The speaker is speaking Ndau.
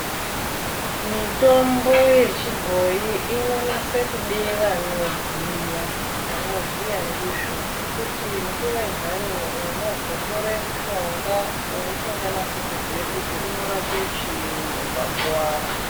Mitombo yechibhoyi inonase kude vanoziya. Vanoziya ndizvo ngekuti nguva yintani unozotore mushonga wausinganasi kuziya kuti unorape chiini ukakuwara.